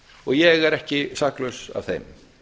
og ég er ekki saklaus af þeim